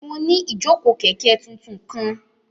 Mo ni ijoko kẹ̀ké tuntun kan